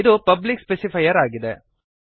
ಇದು public specifier ಆಗಿದೆ